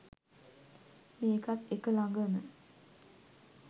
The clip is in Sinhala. මේකත් එක ලඟම